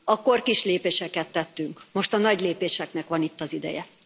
Akkor kis lépéseket tettünk, most a nagy lépéseknek van itt az ideje.